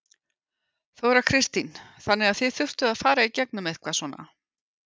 Þóra Kristín: Þannig að þið þurftuð að fara í gegnum eitthvað svona?